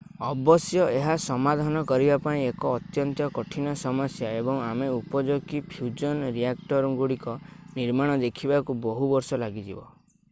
ଅବଶ୍ୟ ଏହା ସମାଧାନ କରିବା ପାଇଁ ଏକ ଅତ୍ୟନ୍ତ କଠିନ ସମସ୍ୟା ଏବଂ ଆମେ ଉପଯୋଗୀ ଫ୍ୟୁଜନ୍ ରିଆକ୍ଟରଗୁଡ଼ିକ ନିର୍ମାଣ ଦେଖିବାକୁ ବହୁ ବର୍ଷ ଲାଗିଯିବ